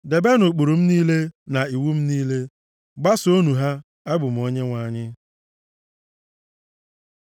“ ‘Debenụ ụkpụrụ m niile, na iwu m niile, gbasoonụ ha. Abụ m Onyenwe anyị.’ ”